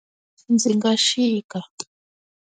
Ndzi nga chika.